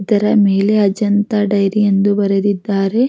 ಇದರ ಮೇಲೆ ಅಜಂತಾ ಡೈರಿ ಅಂತ ಬರೆದಿದ್ದಾರೆ.